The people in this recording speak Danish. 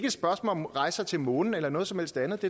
et spørgsmål om rejser til månen eller noget som helst andet